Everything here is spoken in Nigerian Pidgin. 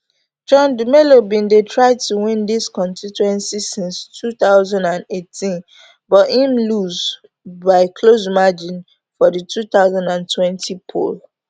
john dumelo bin dey try to win dis constituency since two thousand and eighteen but im lose by close margin for di two thousand and twenty poll